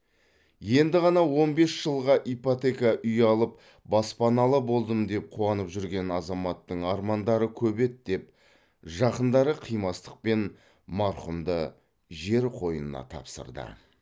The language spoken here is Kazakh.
енді ғана он бес жылға ипотека үй алып баспаналы болдым деп қуанып жүрген азаматтың армандары көп еді деп жақындары қимастықпен марқұмды жер қойнына тапсырды